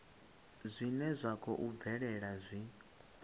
zwine zwa khou bvelela zwi